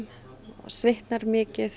svitnar mikið